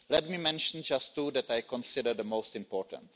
Let me mention just two that I consider the most important.